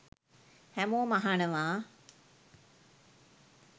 හැමෝම අහනවා.